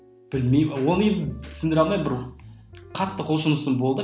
білмеймін оны енді түсіндіре алмаймын бір қатты құлшынысым болды